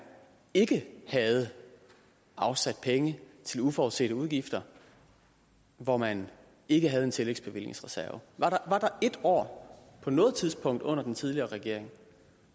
ikke havde afsat penge til uforudsete udgifter hvor man ikke havde en tillægsbevillingsreserve var der ét år på noget tidspunkt under den tidligere regering